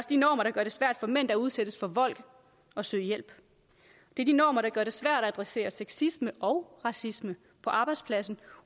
de normer der gør det svært for mænd der udsættes for vold at søge hjælp det er de normer der gør det svært at adressere sexisme og racisme på arbejdspladsen